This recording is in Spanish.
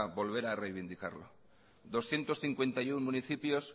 poder reivindicarlo doscientos cincuenta y uno municipios